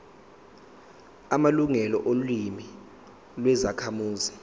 amalungelo olimi lwezakhamuzi